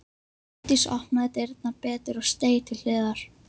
Hjördís opnaði dyrnar betur og steig til hliðar.